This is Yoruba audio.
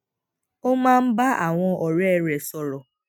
ó máa ń bá àwọn òré rè sòrò